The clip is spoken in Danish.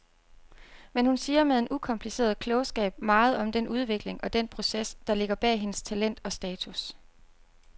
Men hun siger med en ukompliceret klogskab meget om den udvikling og den proces, der ligger bag hendes talent og status.